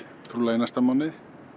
trúlega í næsta mánuði